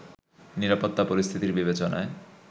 নিরাপত্তা পরিস্থিতির বিবেচনায়